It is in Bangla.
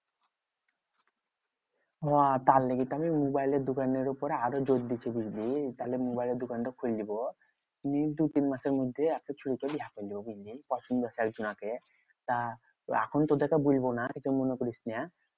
হ্যাঁ তার লেগে তাহলে মোবাইলের দোকানের উপরে আরো জোর বলবি, তাহলে মোবাইলের দোকানটা খুইলবো। তুই কিন্তু তিন মাসের মধ্যে এখন শুরু করলেই দিন দিন পছন্দ তা এখন তোদেরকে বলবো না কিছু মনে করিস না?